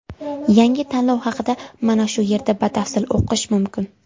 Yangi tanlov haqida mana shu yerda batafsil o‘qish mumkin.